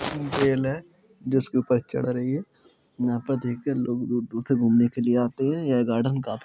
जिसके ऊपर चढ़ रही रही है यहाँ पर देख कर लोग दूर-दूर से लोग घूमने के लिए आते हैं यह गार्डन काफी --